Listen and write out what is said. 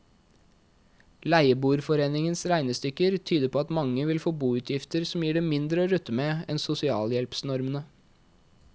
Leieboerforeningens regnestykker tyder på at mange vil få boutgifter som gir dem mindre å rutte med enn sosialhjelpsnormene.